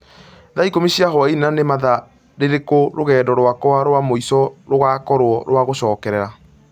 thaa ikũmi cia hwaĩinĩ, na nĩ mathaa rĩrĩku rũgendo rwakwa rwa mũico rugaakorũo rwa gũcokera